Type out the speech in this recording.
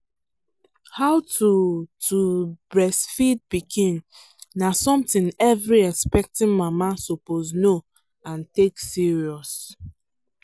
how to to breastfeed pikin na something every expecting mama suppose know and take serious.